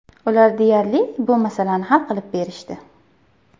Ular deyarli, bu masalani hal qilib berishdi.